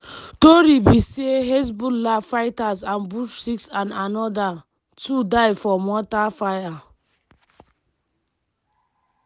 tori be say hezbollah fighters ambush six and anoda two die for mortar fire.